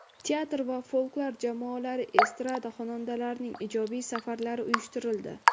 Teatr va folklor jamoalari, estrada xonandalarining ijodiy safarlari uyushtirildi.